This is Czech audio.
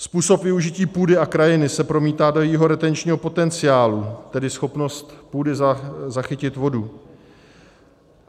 Způsob využití půdy a krajiny se promítá do jejího retenčního potenciálu, tedy schopnost půdy zachytit vodu.